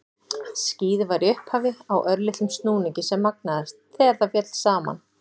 Skýið var í upphafi á örlitlum snúningi sem magnaðist þegar það féll saman.